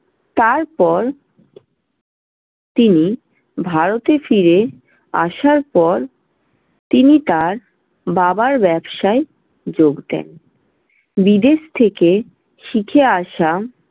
তারপর তিনি ভারতে ফিরে আসার পর তিনি তার বাবার ব্যবসায় যোগ দেন। বিদেশ থেকে শিখে আসা